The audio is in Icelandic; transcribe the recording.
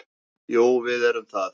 Jú, við erum það.